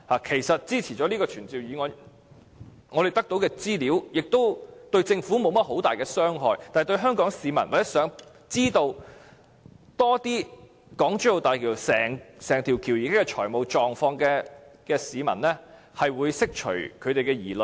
其實，通過這項議案後所得的資料，對政府並沒有很大傷害，但對香港市民或希望知道有關港珠澳大橋整體財務狀況更多資料的市民來說，這可釋除他們的疑慮。